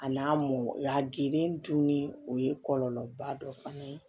A n'a mɔ y'a geren dun ni o ye kɔlɔlɔba dɔ fana ye